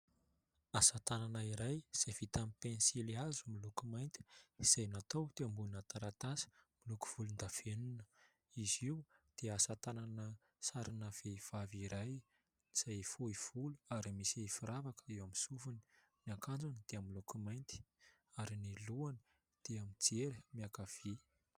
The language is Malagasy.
Asa tanana iray izay vita amin'ny pensilihazo miloko mainty izay natao teo ambonina taratasy miloko volondavenona. Izy io dia asa tanana sarina vehivavy iray izay fohy volo ary misy firavaka eo amin'ny sofiny. Ny akanjony dia miloko mainty ary ny lohany dia mijery miankavia.